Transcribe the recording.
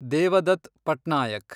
Devdutt Patnaik